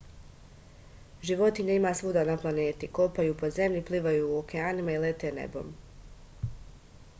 životinja ima svuda na planeti kopaju po zemlji plivaju u okeanima i lete nebom